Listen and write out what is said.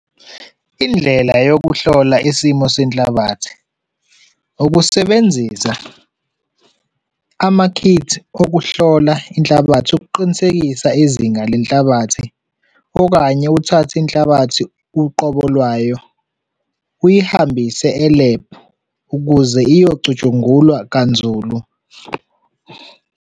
Indlela yokuhlola isimo senhlalabathi, ukusebenzisa amakhithi okuhlola inhlabathi ukuqinisekisa izinga lenhlabathi okanye uthathe inhlabathi uqobo lwayo, uyihambise e-lab ukuze iyocutshungulwa kanzulu.